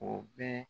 O bɛ